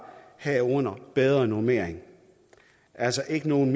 herunder bedre normeringer og altså ikke nogen